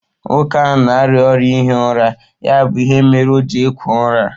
Nwoke ahụ na-arịa ọrịa ihi ụra ya bụ ihe mere o ji ekwo úra